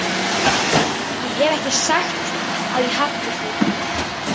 Ég hef ekki sagt að ég hafni því.